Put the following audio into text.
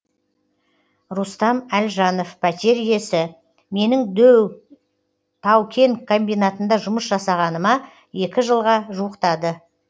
рустам әлжанов пәтер иесі менің дөу тау кен комбинатында жұмыс жасағаныма екі жылға жуықтады